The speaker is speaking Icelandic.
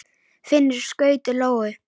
Finnur skaut lóu.